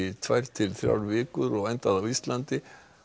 tvær til þrjár vikur og endaði á Íslandi